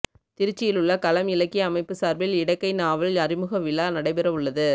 திருச்சியிலுள்ள களம் இலக்கிய அமைப்பு சார்பில் இடக்கை நாவல் அறிமுகவிழா நடைபெறவுள்ளது